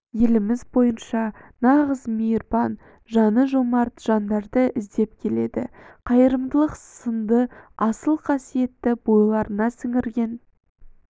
еліміз бойынша нағыз мейірбан жаны жомарт жандарды іздеп келеді қайырымдылық сынды асыл қасетті бойларына сіңірген